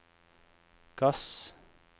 gass